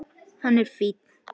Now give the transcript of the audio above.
Hann er fínn.